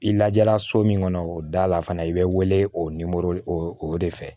I lajɛra so min kɔnɔ o da la fana i bɛ wele o o de fɛ